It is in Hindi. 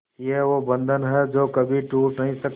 ये वो बंधन है जो कभी टूट नही सकता